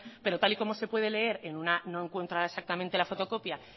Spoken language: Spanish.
pero tal y como se puede leer en una no encuentro ahora exactamente la fotocopia